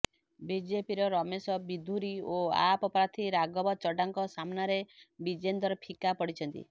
ବିଜେପିର ରମେଶ ବିଧୁରୀ ଓ ଆପ୍ ପ୍ରାର୍ଥୀ ରାଘବ ଚଡ୍ଡାଙ୍କ ସାମ୍ନାରେ ବିଜେନ୍ଦର ଫିକା ପଡ଼ିଛନ୍ତି